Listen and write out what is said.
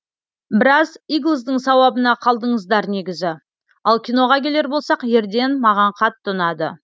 біраз иглздің сауабына қалдыңыздар негізі ал киноға келер болсақ ерден маған қатты ұнады